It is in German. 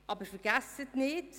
Aber vergessen Sie nicht: